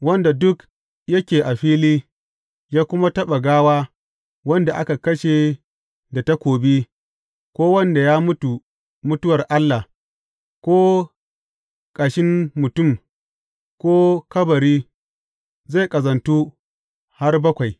Wanda duk yake a fili, ya kuma taɓa gawa wanda aka kashe da takobi, ko wanda ya mutu mutuwar Allah, ko ƙashin mutum, ko kabari, zai ƙazantu har bakwai.